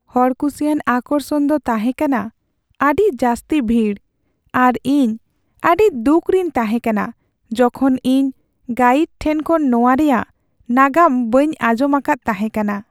ᱦᱚᱲᱠᱩᱥᱤᱭᱟᱱ ᱟᱠᱚᱨᱥᱚᱱ ᱫᱚ ᱛᱟᱦᱮᱸ ᱠᱟᱱᱟ ᱟᱹᱰᱤ ᱡᱟᱹᱥᱛᱤ ᱵᱷᱤᱲ ᱟᱨ ᱤᱧ ᱟᱹᱰᱤ ᱫᱩᱠᱷ ᱨᱤᱧ ᱛᱟᱦᱮᱸ ᱠᱟᱱᱟ ᱡᱚᱠᱷᱚᱱ ᱤᱧ ᱜᱟᱭᱤᱰ ᱴᱷᱮᱱ ᱠᱷᱚᱱ ᱱᱚᱣᱟ ᱨᱮᱭᱟᱜ ᱱᱟᱜᱟᱢ ᱵᱟᱹᱧ ᱟᱸᱡᱚᱢ ᱟᱠᱟᱫ ᱛᱟᱦᱮᱸ ᱠᱟᱱᱟ ᱾